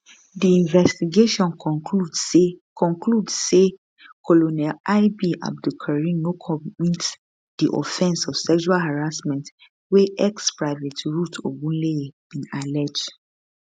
di investigation conclude say conclude say colonel ib abdulkareen no commit di offence of sexual harassment wey exprivate ruth ogunleye bin allege